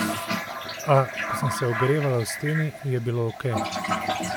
A, ko sem se ogrevala v steni, je bilo okej.